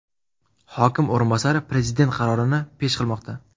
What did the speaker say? Hokim o‘rinbosari Prezident qarorini pesh qilmoqda.